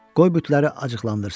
qoy bütləri acıqlandırsın.